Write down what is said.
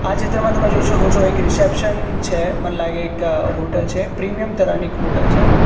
આ ચિત્રમાં તમે જોઈ શકો છો એક રિસેપ્શન છે મન લાગે એક હોટલ છે પ્રીમિયમ તરહની એક હોટલ છે.